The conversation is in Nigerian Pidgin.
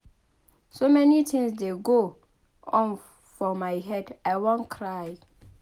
So many things dey go on for my head I wan cry